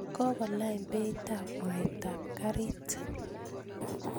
kokolany beitab mwatab kariit